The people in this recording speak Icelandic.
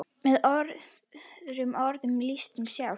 Með öðrum orðum lífið sjálft.